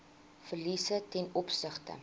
verliese ten opsigte